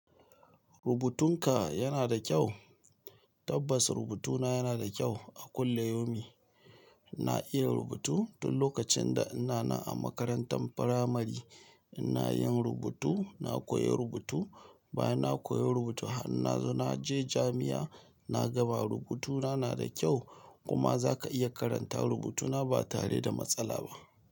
Rubutunka yana da kyau? Tabbas rubutuna yana da kyau a kullayomi. Na iya rubutu tun lokacin da ina nan a makarantar firamari ina yin rubutu, na koyi rubutu, bayan na koyi rubutu har na zo na je jami'a na gaba rubutuna na da kyau kuma za ka iya karanta rubutuna ba tare da matsala ba.